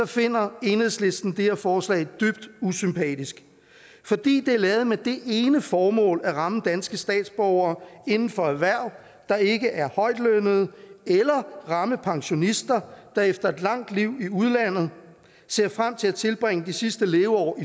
finder enhedslisten det her forslag dybt usympatisk fordi det er lavet med det ene formål at ramme danske statsborgere inden for erhverv der ikke er højtlønnede eller ramme pensionister der efter et langt liv i udlandet ser frem til at tilbringe de sidste leveår